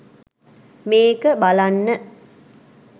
මේක බලන්න